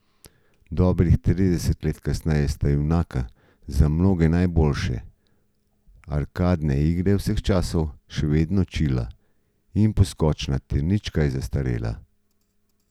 Dobrih trideset let kasneje sta junaka za mnoge najboljše arkadne igre vseh časov še vedno čila in poskočna ter nič kaj zastarela.